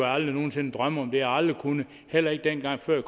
aldrig nogen sinde drømme om det har jeg aldrig kunnet heller ikke dengang jeg